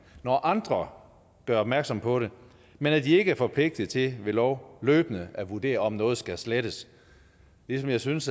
når andre gør opmærksom på det men at de ikke er forpligtet til ved lov løbende at vurdere om noget skal slettes jeg synes